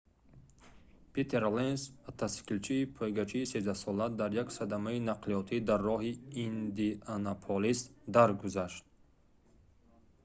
питер ленц мотосиклисти пойгачии13-сола дар як садамаи нақлиётӣ дар роҳи индианаполис даргузашт